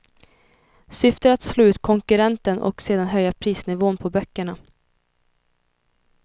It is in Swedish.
Syftet är att slå ut konkurrenten för att sedan höja prisnivån på böckerna.